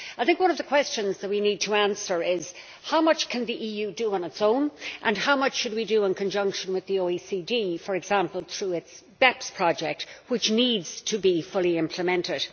I think one of the questions that we need to answer is how much can the EU do on its own, and how much should we do in conjunction with the OECD, for example through its BEPS project, which needs to be fully implemented?